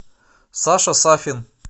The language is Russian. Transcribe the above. саша сафин